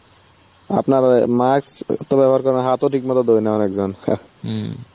আপনার ওই মাস্ক তো ব্যবহার করে না, হাতও ঠিক মতো ধোয় না অনেকজন.